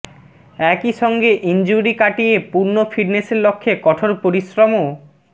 একই সঙ্গে ইনজুরি কাটিয়ে পূর্ণ ফিটনেসের লক্ষ্যে কঠোর পরিশ্রমও